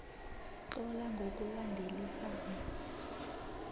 tlola ngokulandelisana